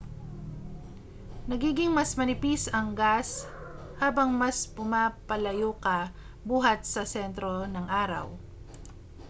nagiging mas manipis ang gas habang mas pumapalayo ka buhat sa sentro ng araw